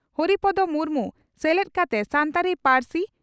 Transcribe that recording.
ᱦᱚᱨᱤᱯᱚᱫᱳ ᱢᱩᱨᱢᱩ ᱥᱮᱞᱮᱫ ᱠᱟᱛᱮ ᱥᱟᱱᱛᱟᱲᱤ ᱯᱟᱹᱨᱥᱤ